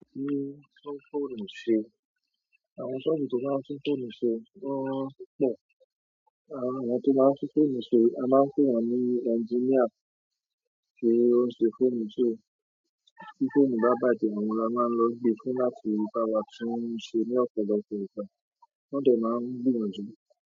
Títún fóònù ṣe, àwọn ṣọ́ọ̀ṣì tó máa ń tún fóònù ṣe, won pọ̀. Àwọn to máa ń tún fóònù ṣe yìí a máa ń pè wọ́n ní ẹnginíà ti ó ń ṣe fóònù, so. Ti fóònù ba bàjẹ́ oun ni a maa n lo n gbe fún láti ba wa tun se ni ọ̀pọ̀lọpọ̀ ìgbà. Wọ́n dẹ máa ń gbìyànjú.